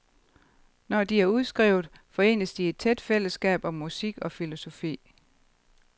Når de er udskrevet, forenes de i et tæt fællesskab om musik og filosofi.